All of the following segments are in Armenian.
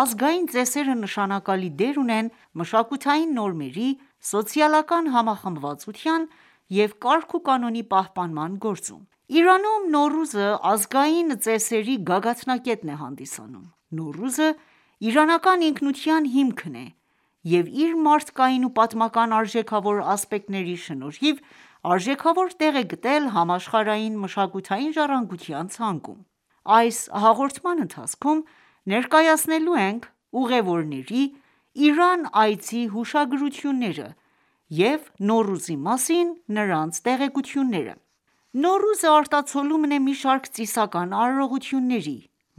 ազգային ծեսերը նշանակալի դեր ունեն մշակութային նորմերի, սոցիալական համախմբվածության և կարգ ու կանոնի պահպանման գործում: Իրանում Նոռուզը ազգային ծեսերի գագաթնակետն է հանդիսանում: Նոռուզը իրանական ինքնության հիմքն է և իր մարդկային ու պատմական արժեքավոր ասպեկտների շնորհիվ արժեքավոր տեղ է գտել համաշխարհային մշակութային ժառանգության ցանկում։ Այս հաղորդման ընթացքում ներկայացնելու ենք ուղևորների Իրան այցի հուշագրությունները և Նոռուզի մասին նրանց տեղեկությունները: Նոռուզը ,արտացոլումն է մի շարք ծիսական արարողությունների,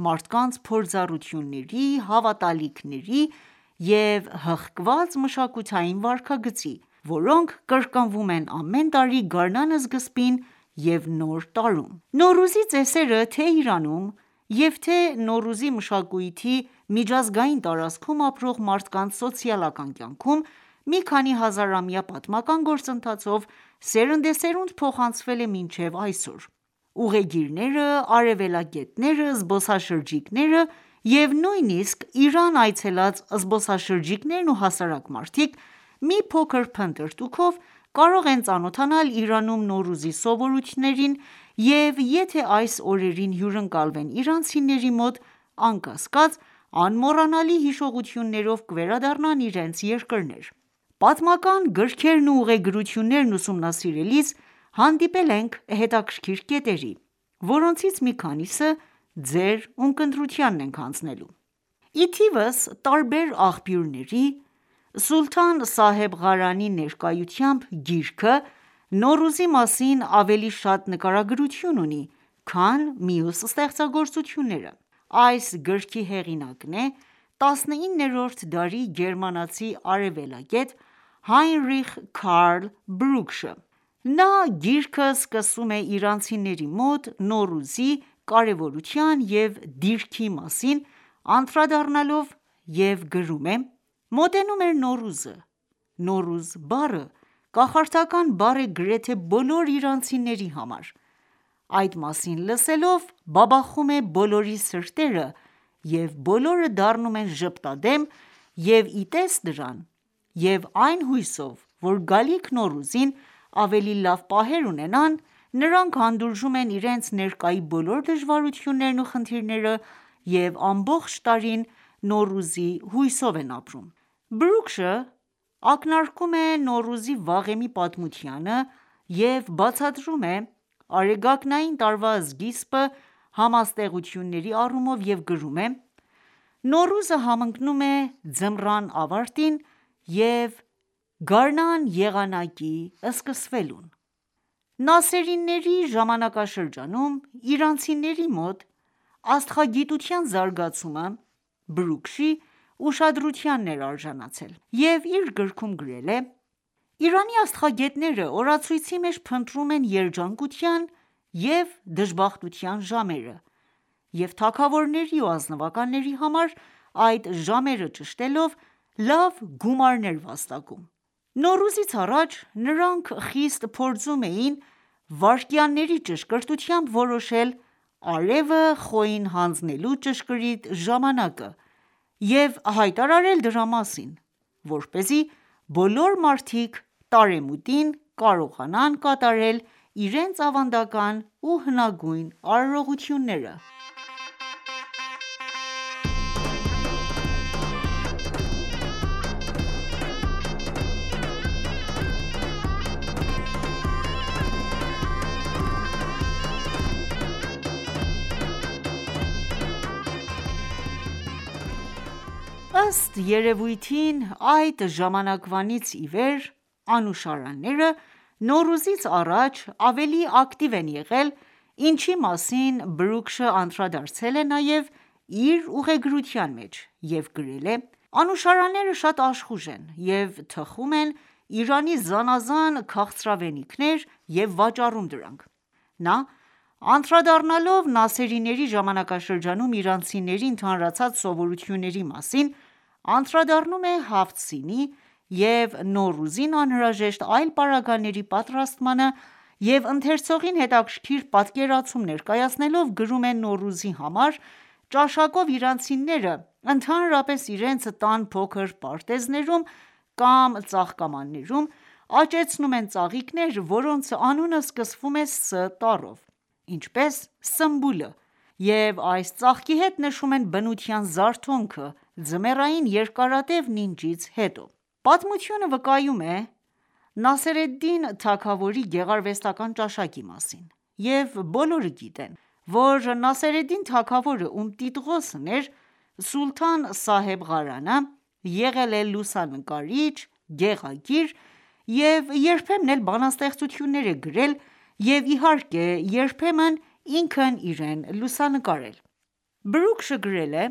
մարդկանց փորձառությունների, հավատալիքների և հղկված մշակութային վարքագծի, որոնք կրկնվում են ամեն տարի գարնան սկզբին և նոր տարում:Նոռուզի ծեսերը, թե՝ Իրանում և թե՝Նոռուզի մշակույթի միջազգային տարածքում ապրող մարդկանց սոցիալական կյանքում, մի քանի հազար ամյա պատմական գործընթացով սերնդեսերունդ փոխանցվել է մինչև այսօր:Ուղեգիրները, արևելագետները, զբոսաշրջիկները և նույնիսկ Իրան այցելած զբոսաշրջիկներն ու հասարակ մարդիկ մի փոքր փնտրտուքով կարող են ծանոթանալ Իրանում Նոռուզի սովորույթներին և եթե այս օրերին հյուրընկալվեն իրանցիների մոտ, անկասկած, անմոռանալի հիշողություններով կվերադառնան իրենց երկրներ։ Պատմական գրքերն ու ուղեգրություններն ուսումնասիրելիս հանդիպել ենք հետաքրքիր կետերի, որոնցից մի քանիսը ձեր ունկնդրությանն ենք հանձնելու: Ի թիվս տարբեր աղբյուրների՝ «Սուլթան Սահեբ Ղարանի ներկայությամբ » գիրքը ,Նոռուզի մասին ավելի շատ նկարագրություն ունի, քան մյուս ստեղծագործությունները։ Այս գրքի հեղինակն է ՝19-րդ դարի գերմանացի արևելագետ Հայնրիխ Քարլ Բրուգշը ։Նա գիրքը սկսում է՝իրանցիների մոտ Նոռուզի կարևորության և դիրքի մասին անդրադառնալով և գրում է .«Մոտենում էր Նոռուզը :«Նոռուզ» բառը կախարդական բառ է գրեթե բոլոր իրանցիների համար, այդ մասին լսելով ,բաբախում է բոլորի սրտերը և բոլորը դառնում են ժպտադեմ և իտես դրան և այն հույսով, որ գալիք Նոռուզին ավելի լավ պահեր ունենան, նրանք հանդուրժում են իրենց ներկայի բոլոր դժվարություններն ու խնդիրները և ամբողջ տարին Նոռուզի հույսով են ապրում: Բրուգշը ակնարկում է Նոռուզի վաղեմի պատմությանը և բացատրում է արեգակնային տարվա սկիզբը համաստեղությունների առումով և գրում է.«Նոռուզը համընկնում է ձմռան ավարտին և գարնան եղանակի սկսվելուն»: Նասերիների ժամանակաշրջանում իրանցիների մոտ աստղագիտության զարգացումը ,Բրուգշի ուշադրությանն էր արժանացել և իր գրքում գրել է.«Իրանի աստղագետները օրացույցի մեջ փնտրում են երջանկության ու դժբախտության ժամերը և թագավորների ու ազնվականների համար այդ ժամերը ճշտելով ,լավ գումարներ վաստակում:Նոռուզից առաջ նրանք խիստ փորձում էին վայրկյանների ճշգրտությամբ որոշել արևը Խոյին հանձնելու ճշգրիտ ժամանակը և հայտարարել դրա մասին, որպեսզի բոլոր մարդիկ տարեմուտին կարողանան կատարել իրենց ավանդական ու հնագույն արարողությունները»։ Ըստ երևույթին, այդ ժամանակվանից իվեր անուշարանները Նոռուզից առաջ ավելի ակտիվ են եղել ինչի մասին Բրուգշը անդրադարձել է նաև իր ուղեգրության մեջ և գրել է.«Անուշարանները շատ աշխուժ են և թխում են Իրանի զանազան քաղցրավենիքներ և վաճառում դրանք »: Նա ,անդրադառնալով Նասերիների ժամանակաշրջանում իրանցիների ընդհանրացած սովորությունների մասին ,անդրադառնում է Հաֆթ սինի և Նոռուզին անհրաժեշտ այլ պարագաների պատրաստմանը եւ ընթերցողին հետաքրքիր պատկերացում ներկայացնելով ,գրում է.«Նոռուզի համար ,ճաշակով իրանցիները ,ընդհանրապես իրենց տան փոքր պարտեզներում կամ ծաղկամաններում աճացնում են ծաղիկներ ,որոնց անունը սկսում է «ս»տառով: Ինչպես Սմբուլը և այս ծաղկի հետ նշում են բնության զարթոնքը, ձմեռային երկարատև նինջից հետո»: Պատմությունը վկայում է Նասեր էլ-Դին թագավորի գեղարվեստական ​​ճաշակի մասին, և բոլորը գիտեն, որ Նասեր էլ-Դին թագավորը ,ում տիտղոսն էր սուլթան Սահեբ Ղարանը, եղել է լուսանկարիչ, գեղագիր և երբեմն էլ բանաստեղծություններ է գրել և իհարկե երբեմն ինքը իրեն լուսանկարել: Բրուգշը գրել է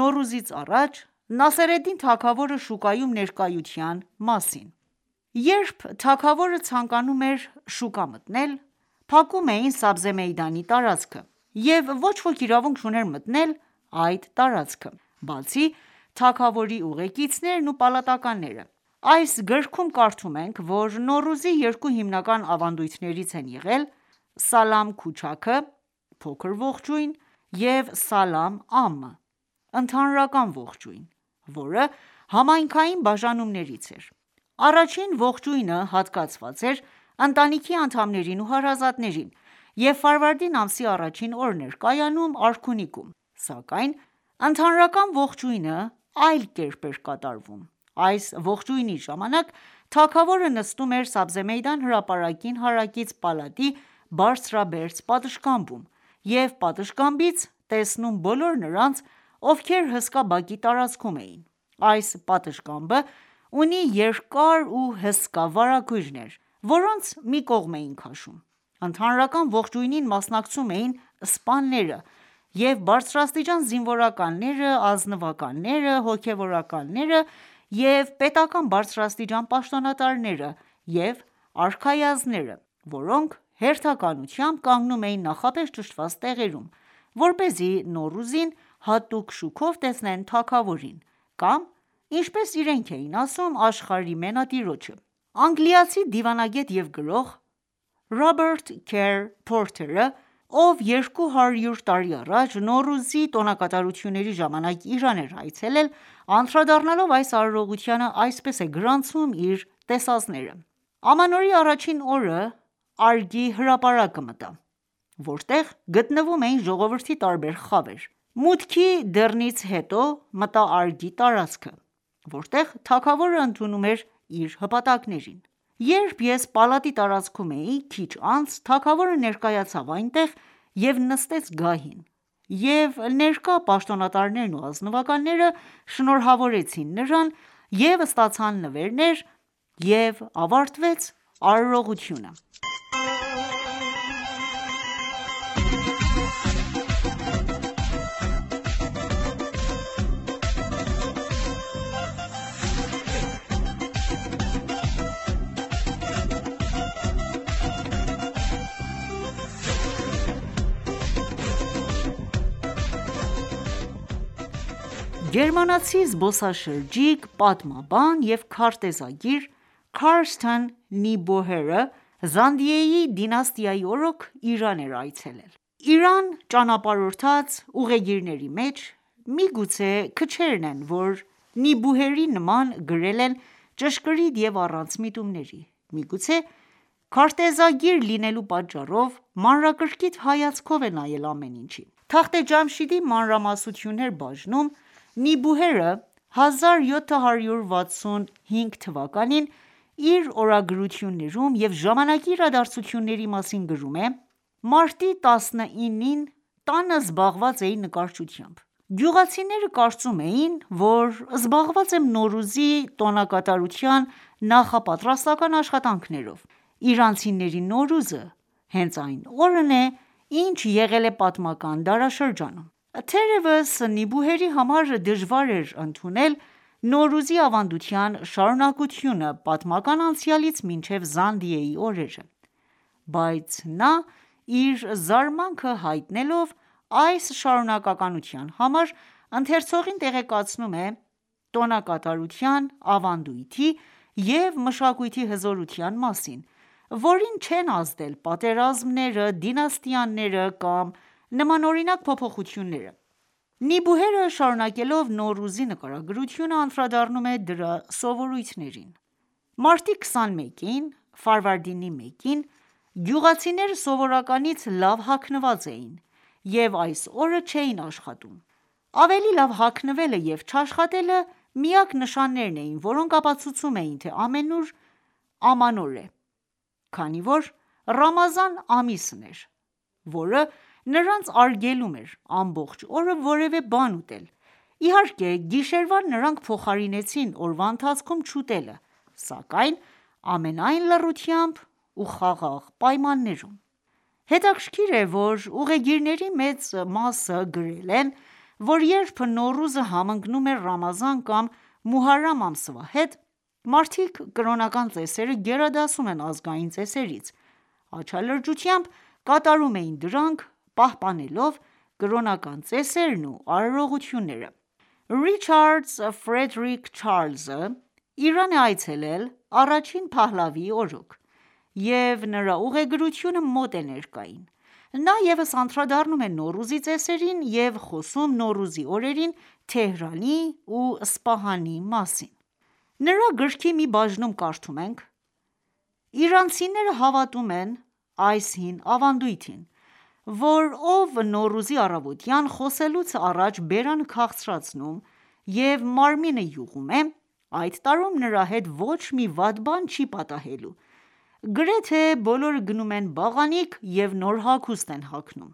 Նոռուզից առաջ Նասեր էլ Դին թագավորի, շուկայում ներկայության մասին:Երբ թագավորը ցանկանում էր շուկա մտնել, փակում էին «Սաբզե Մեյդան»-ի տարածքը և ոչ ոք իրավունք չուներ մտնել այդ տարածքը ,բացի թագավորի ուղեկիցներն ու պալատականները: Այս գրքում կարդում ենք, որ Նոռուզի երկու հիմնական ավանդույթներից են եղել«Սալամ քուչաք»-ը(փոքր ողջույն)և «Սալամ Ամմ»-ը,(ընդհանրական ողջույն համայնքային բաժանումներից էր:Առաջին ողջույնը հատկացված էր ընտանիքի անդամներին ու հարազատներին և Ֆարվարդին ամսի առաջին օրն էր կայանում արքունիքում :Սակայն ընդհանրական ողջույնը, այլ կերպ էր կատարվում: Այս ողջույնի ժամանակ թագավորը նստում էր Սաբզե Մեյդան հրապարակին հարակից պալատի բարձրաբերձ պատշգամբում և պատշգամբից տեսնում բոլոր նրանց, ովքեր հսկա բակի տարածքում էին: Այս պատշգամբը ունի երկար ու հսկա վարագույրներ, որոնց մի կողմ էին քաշում: Ընդհանրական ողջույնին մասնակցում էին ՝սպաները և բարձրաստիճան զինվորականները, ազնվականները, հոգևորականները և պետական բարձրաստիճան պաշտոնատարները և արքայազնները ,որոնք հերթականությամբ կանգնում էին նախապես ճշտված տեղերում, որպեսզի Նոռուզին հատուկ շուքով տեսնեն թագավորին ,կամ ինչպես իրենք էին ասում «աշխարհի մենատիրոջը»: Անգլիացի դիվանագետ և գրող Ռոբերտ Քեր Փորթերը ,ով 200 տարի առաջ Նոռուզի տոնակատարությունների ժամանակ Իրան էր այցելել անդրադառնալով այս արարողությանը ,այսպես է գրանցում իր տեսածները. «Ամանորի առաջին օրը «Արգ»-ի հրապարակը մտա, որտեղ գտնվում էին ժողովրդի տարբեր խավեր: Մուտքի դռնից հետո ,մտա «Արգ»-ի տարածքը ,որտեղ թագավորը ընդունում էր իր հպատակներին:Երբ ես պալատի տարածքում էի, քիչ անց ,թագավորը ներկայացավ այնտեղ և նստեց գահին և ներկա պաշտոնատարներն ու ազնվականները շնորհավորեցին նրան և ստացան նվերներ և ավարտվեց արարողությունը»: Նոռուզը պատմական Իրանում Գերմանացի զբոսաշրջիկ, պատմաբան և քարտեզագիր՝Քարսթեն Նիբուհերը, Զանդիեի դինաստիայի օրոք Իրան է այցելել:Իրանում ճանապարհած ուղեգիրների մեջ ,միգուցե քչերն են ,որ Նիբուհերի նման գրել են ճշգրիտ և առանց միտումների:Միգուցե քարտեզագիր լինելու պատճառով, մանրակրկիտ հայացքով է նայել ամեն ինչին:«Թախտե Ջամշիդի մանրամասնություններ»-բաժնում ,Նիբուհերը ,1765 թվականին իր օրագրություններում և ժամանակի իրադարձությունների մասին գրում է .«Մարտի 19-ին տանը զբաղված էի նկարչությամբ: Գյուղացիները կարծում էին ,որ զբաղված եմ Նոռուզի տոնակատարության նախապատրաստական աշխատանքներով :Իրանցիների Նոռուզը հենց այն օրն է ինչ եղել է պատմական դարաշրջանում...»: Թերևս Նիբուհերի համար դժվար էր ընդունել Նոռուզի ավանդության շարունակությունը, պատմական անցյալից մինչև Զանդիեի օրերը։ Բայց նա իր զարմանքը հայտնելով այս շարունակականության համար՝ ընթերցողին տեղեկացնում է տոնակատարության, ավանդույթի և մշակույթի հզորության մասին, որին չեն ազդել պատերազմները ,դինաստիաները կամ նմանօրինակ փոփոխությունները։ Նիբուհերը, շարունակելով Նոռուզի նկարագրությունը, անդրադառնում է դրա սովորույթներին.«Մարտի 21-ին (ֆարվարդինի 1-ին) գյուղացիները սովորականից լավ հագնված էին և այս օրը չէին աշխատում։ Ավելի լավ հագնվելը և չաշխատելը միակ նշաններն էին, որոնք ապացուցում էին թե՝ամանոր է, քանի որ Ռամազան ամիսն էր ,որը նրանց արգելում էր ամբողջ օրը որևէ բան ուտել :Իհարկե գիշերվան նրանք փոխարինեցին օրվա ընթացքում չուտելը, սակայն ամենայն լռությամբ ու խաղաղ պայմաններում»: Հետաքրքիր է, որ ուղեգիրների մեծ մասը գրել են, որ երբ Նոռուզը համընկնում էր Ռամազան կամ Մուհարրամ ամսվա հետ, մարդիկ կրոնական ծեսերը գերադասում են ազգային ծեսերից, աչալրջությամբ կատարում էին դրանք՝ պահպանելով կրոնական ծեսերն ու արարողությունները: Ռիչարդզ Ֆրեդերիկ Չարլզը Իրան է այցելել առաջին Փահլավիիի օրոք և նրա ուղեգրությունը մոտ է ներկային։ Նա ևս անդրադառնում է Նոռուզի ծեսերին և խոսում ՝Նոռուզի օրերին Թեհրանի ու Սպահանի մասին։ Նրա գրքի մի բաժնում կարդում ենք.«Իրանցիները հավատում են այս հին ավանդույթին, որ ով Նոռուզի առավոտյան, խոսելուց առաջ բերանը քաղցրացնում և մարմինը յուղում է, այդ տարում նրա հետ ոչ մի վատ բան չի պատահելու։ Գրեթե բոլորը գնում են բաղանիք և նոր հագուստ են հագնում»։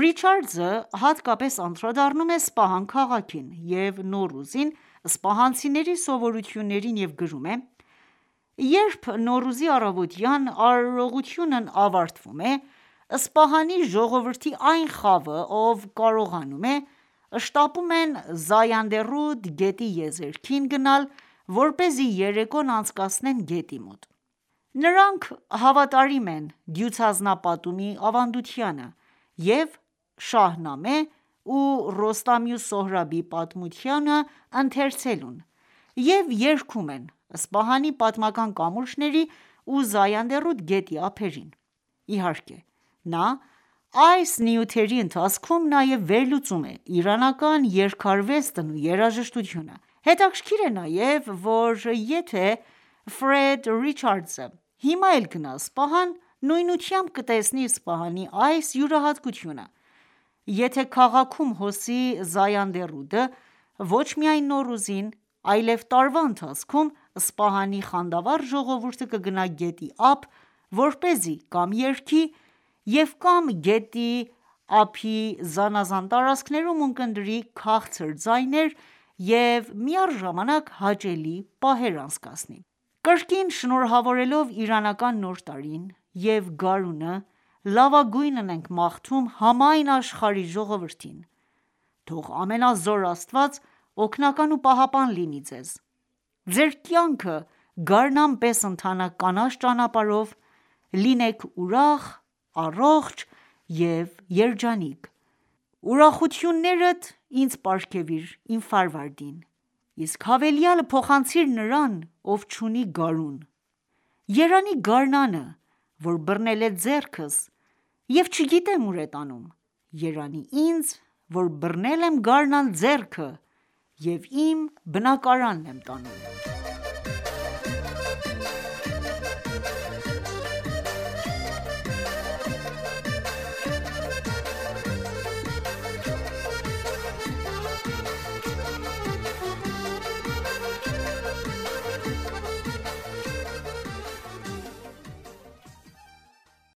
Ռիչարդզը հատկապես անդրադառնում է Սպահան քաղաքին և Նոռուզին սպահանցիների սովորույթներին և գրում է.«Երբ Նոռուզի առավոտյան արարողությունն ավարտվում է, Սպահանի ժողովրդի այն խավը, ով կարող է, շտապում են «Զայանդե ռուդ» գետի եզերքին գնալ ,որպեսզի երեկոն անցկացնի գետի մոտ ։Նրանք հավատարիմ են դյուցազնապատումի ավանդությանը և Շահնամե ու Ռոստամի ու Սոհրաբի պատմությունը ընթերցելուն ,և երգում են Սպահանի պատմական կամուրջների ու «Զայանդե ռուդ» գետի ափերին»։Իհարկե, նա այս նյութերի ընթացքում նաև վերլուծում է իրանական երգարվեստն ու երաժշտությունը: Հետաքրքիր է նաև ,որ եթե Ֆրեդ Ռիչարդզը հիմա էլ գնա Սպահան ,նույնությամբ կտեսնի Սպահանի այս յուրահատկությունը: Եթե քաղաքում հոսի «Զայանդե ռուդ»-ը ,ոչ միայն Նոռուզին ,այլև տարվա ընթացքում ,Սպահանի խանդավառ ժողովուրդը կգնա գետի ափ ,որպեսզի կամ երգի և կամ գետի ափի զանազան տարածքներում ունկնդրի քաղցր ձայներ և մի առժամանակ հաճելի պահեր անցկացնի: Կրկին շնորհավորելով իրանական նոր տարին և գարունը ,լավագույնն ենք մաղթում համայն աշխարհի ժողովրդին։ Թող ամենազոր Աստված օգնական ու պահապան լինի Ձեզ։ Ձեր կյանքը գարնան պես ընթանա կանաչ ճանապարհով, լինեք ուրախ ,առողջ և երջանիկ: Ուրախություններդ ինձ պարգևիր՝ Իմ Ֆարվարդին. Իսկ հավելյալը փոխանցիր նրան ով չունի գարուն... Երանի գարնանը՝ Որ բռնել է ձեռքս և չգիտեմ ու՞ր է տանում. Երանի ինձ Որ բռնել եմ գարնան ձեռքը և իմ բնակարանն եմ տանում: